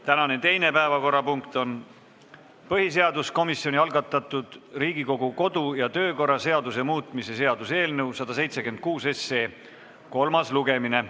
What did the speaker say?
Tänane teine päevakorrapunkt on põhiseaduskomisjoni algatatud Riigikogu kodu- ja töökorra seaduse muutmise seaduse eelnõu 176 kolmas lugemine.